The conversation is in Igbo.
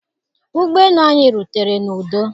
Ụgbọ elu anyị rutere n'udo.